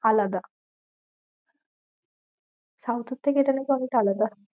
আলাদা। South এর থেকে এখানে অনেক আলাদা।